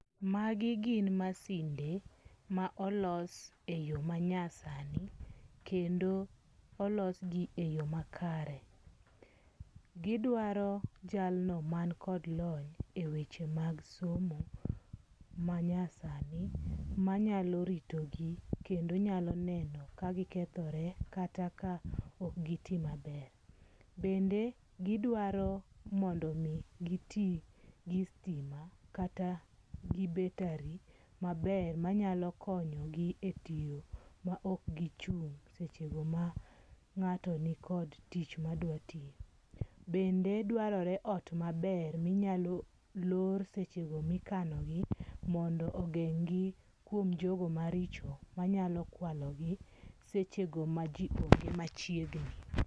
Magi gin masinde ma olos e yo manyasani. Kendo olos gi e yo makare. Gidwaro jalno man kod lony e weche mag somo manyasani manyalo ritogi kendo nyaloneno ka gikethore kata ka ok giti maber. Bende gidwaro mondo mi giti gi sitima kata gi betari maber manyalo konyogi e tiyo ma ok gichung' seche go ma ng'ato ni kod tich madwa tiyo. Bende dwarore ot maber minyalo lor seche go mikano gi mondo ogeng' gi kwom jogo maricho manyalo kwalogi seche go ma ji onge machiegni.